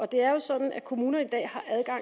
det er jo sådan at kommunerne